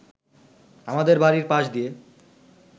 আমাদের বাড়ির পাশ দিয়ে